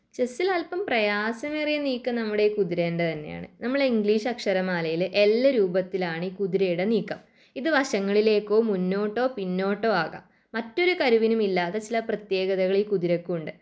ചെസ്സിൽ അല്പം പ്രയാസമേറിയ നീക്കം നമ്മുടെ ഈ കുതിരേൻ്റെ തന്നെയണ്. നമ്മളെ ഇംഗ്ലീഷ് അക്ഷരമാലയിലെ എല്ല് രൂപത്തിലാണീ കുതിരയുടെ നീക്കം ഇത് വശങ്ങളിലേക്കോ മുന്നോട്ടോ പിന്നോട്ടോ ആകാം. മറ്റൊരു കരുവില്ലാത്ത ചില പ്രത്യേകളീ കുതിരക്കുണ്ട്.